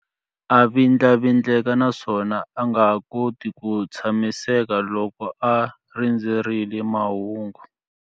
A vindlavindleka naswona a nga koti ku tshamiseka loko a ha rindzerile mahungu.